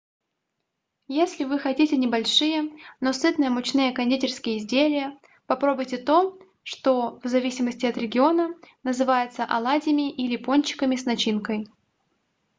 если вы хотите небольшие но сытные мучные кондитерские изделия попробуйте то что в зависимости от региона называется оладьями или пончиками с начинкой